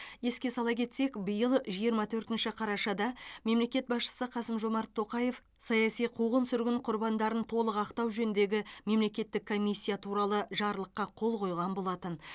еске сала кетсек биыл жиырма төртінші қарашада мемлекет басшысы қасым жомарт тоқаев саяси қуғын сүргін құрбандарын толық ақтау жөніндегі мемлекеттік комиссия туралы жарлыққа қол қойған болатын